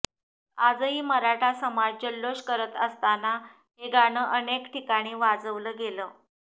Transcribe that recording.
आजही मराठा समाज जल्लोष करत असताना हे गाणं अनेक ठिकाणी वाजवलं गेलं